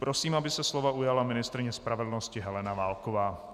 Prosím, aby se slova ujala ministryně spravedlnosti Helena Válková.